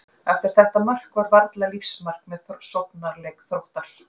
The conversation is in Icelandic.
Eftir þetta mark var varla lífsmark með sóknarleik Þróttar.